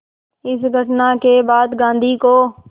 इस घटना के बाद गांधी को